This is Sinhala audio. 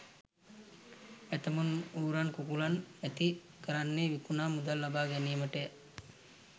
ඇතැමුන් ඌරන් කුකුලන් ඇති කරන්නේ විකුණා මුදල් ලබා ගැනීමටය.